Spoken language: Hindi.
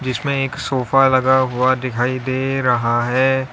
इसमें एक सोफा लगा हुआ दिखाई दे रहा है।